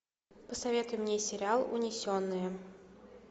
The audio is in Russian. посоветуй мне сериал унесенные